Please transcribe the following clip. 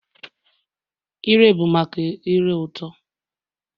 Ire bụ maka ire ụtọ